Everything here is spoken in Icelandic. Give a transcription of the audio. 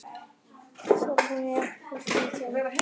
Þorfinna, ekki fórstu með þeim?